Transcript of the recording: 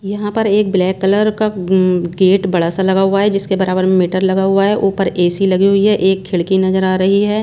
यहां पर एक ब्लैक कलर का गेट बड़ा सा लगा हुआ है जिसके बराबर में मीटर लगा हुआ है ऊपर ए_सी लगी हुई है एक खिड़की नजर आ रही है।